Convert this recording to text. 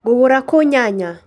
Ngũgũra kũũ nyanya?